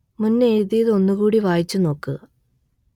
മുന്ന് എഴുതിയത് ഒന്നു കൂടെ വായിച്ചു നോക്കുക